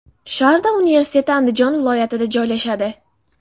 Sharda universiteti Andijon viloyatida joylashadi.